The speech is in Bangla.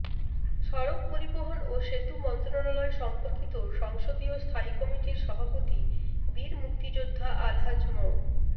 সড়ক পরিবহন ও সেতু মন্ত্রণালয় সম্পর্কিত সংসদীয় স্থায়ী কমিটির সভাপতি বীর মুক্তিযোদ্ধা আলহাজ মো